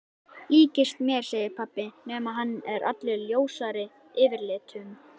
Líkist mér segir pabbi nema hann er allur ljósari yfirlitum.